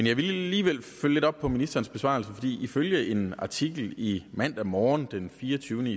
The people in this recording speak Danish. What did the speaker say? jeg vil alligevel følge lidt op på ministerens besvarelse for ifølge en artikel i mandag morgen den fireogtyvende